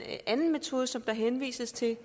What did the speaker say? anden metode som der henvises til